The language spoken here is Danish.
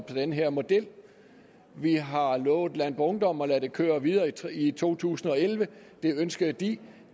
den her model vi har lovet landboungdom at lade det køre videre i to tusind og elleve det ønskede de